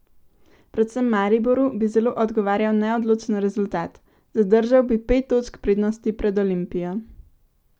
Predvsem Mariboru bi zelo odgovarjal neodločen rezultat: "Zadržal bi pet točk prednosti pred Olimpijo.